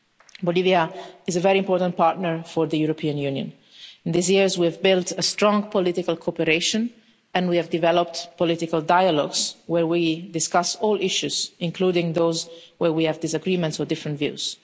Bolivia is a very important partner for the European Union. These years we have built a strong political cooperation and we have developed political dialogues where we discuss all issues, including those where we have disagreements or different views.